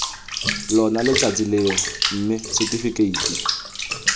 lona letsatsi leo mme setifikeiti